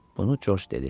Bunu Corc dedi.